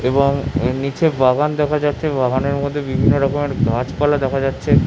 এবং এর নিচে বাগান দেখা যাচ্ছে বাগান এর মধ্য়ে বিভিন্ন রকমের গাছ পালা দেখা যাচ্ছে।